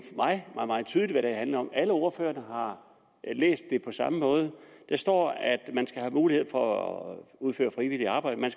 meget meget tydeligt hvad det handler om alle ordførerne har læst det på samme måde det står at mulighed for at udføre frivilligt arbejde man